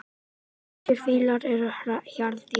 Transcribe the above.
Asískir fílar eru hjarðdýr.